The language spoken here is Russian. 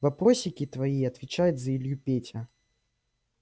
вопросики твои отвечает за илью петя